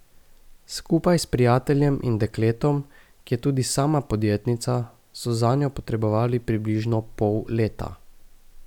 Skupaj s prijateljem in dekletom, ki je tudi sama podjetnica, so zanjo potrebovali približno pol leta.